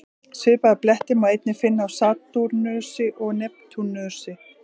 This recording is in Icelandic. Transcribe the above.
Svipaða bletti má einnig finna á Satúrnusi og Neptúnusi.